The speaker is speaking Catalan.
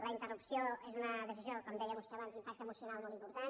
la interrupció és una decisió com deia vostè abans d’impacte emocional molt important